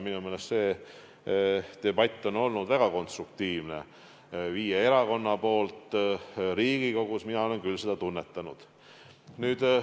Minu meelest on see debatt olnud väga konstruktiivne viie erakonna seas Riigikogus, mina olen küll seda tunnetanud.